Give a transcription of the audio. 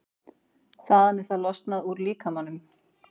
Þaðan er það losað úr líkamanum.